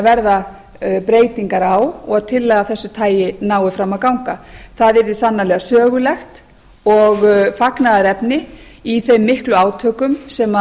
verða breytingar á og tillaga af þessu tagi nái fram að ganga það yrði sannarlega sögulegt og fagnaðarefni í þeim miklu átökum sem